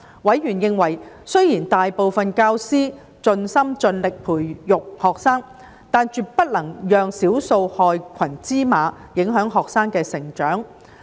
委員認為，雖然大部分教師盡心盡力培育學生，但絕不能讓少數害群之馬影響學生的成長。